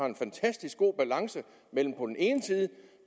en fantastisk god balance